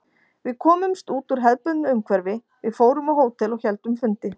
Við komumst út úr hefðbundnu umhverfi, við fórum á hótel og héldum fundi.